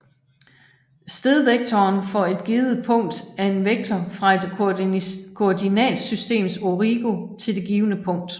Stedvektoren for et givet punkt er en vektor fra et koordinatsystems origo til det givne punkt